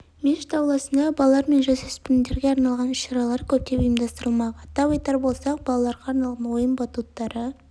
мешіт ауласында балалар мен жасөспірімдерге арналған іс-шаралар көптеп ұйымдастырылмақ атап айтар болсақ балаларға арналған ойын батуттары